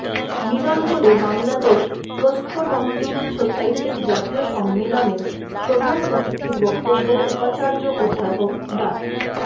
মিলন হলে বাংলাদেশ প্রস্থোডন্টিক সোসাইটির জাতীয় সম্মেলনে প্রধান অতিথির বক্তব্যে উপাচার্য অধ্যাপক ডা